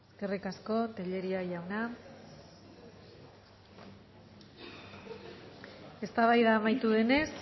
eskerrik asko tellería jauna eztabaida amaitu denez